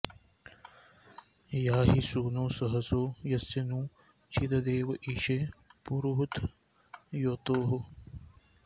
या॒हि सू॑नो सहसो॒ यस्य॒ नू चि॒ददे॑व॒ ईशे॑ पुरुहूत॒ योतोः॑